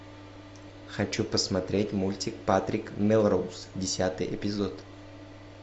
хочу посмотреть мультик патрик мелроуз десятый эпизод